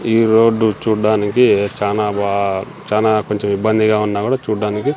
ఈ రోడ్డు చూడ్డానికి చానా బా చానా కొంచెం ఇబ్బందిగా ఉన్న కూడా చూడ్డానికి--